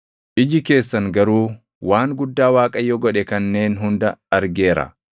Iji keessan garuu waan guddaa Waaqayyo godhe kanneen hunda argeera.